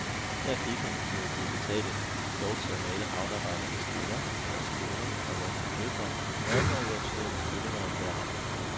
Her fik han, mod god betaling, lov til at male havnearbejdernes kvinder, deres koner og voksne døtre, nøgne og i obskøne stillinger af enhver art.